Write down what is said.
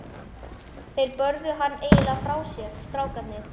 Þeir börðu hann eiginlega frá sér, strákarnir.